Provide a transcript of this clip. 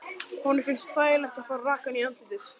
Honum finnst þægilegt að fá rakann í andlitið.